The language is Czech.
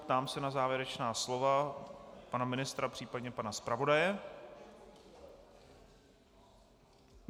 Ptám se na závěrečná slova pana ministra, případně pana zpravodaje.